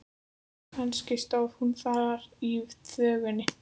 Kannski stóð hún þar í þvögunni.